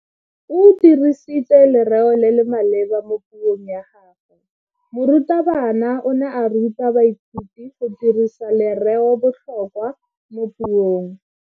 O dirisitse lereo le le maleba mo puong ya gagwe. Morutabana o ne a ruta baithuti go dirisa lereobotlhokwa mo puong.